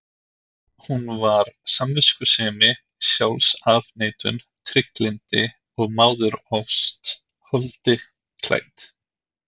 Hún var samviskusemi, sjálfsafneitun, trygglyndi og móðurást holdi klædd.